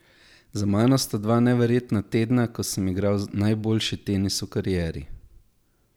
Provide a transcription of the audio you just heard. Za mano sta dva neverjetna tedna, ko sem igral najboljši tenis v karieri.